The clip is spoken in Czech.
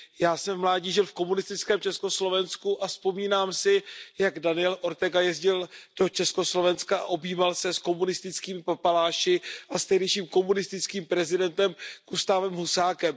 Já jsem v mládí žil v komunistickém Československu a vzpomínám si, jak Daniel Ortega jezdil do Československa a objímal se s komunistickými papaláši a s tehdejším komunistickým prezidentem Gustávem Husákem.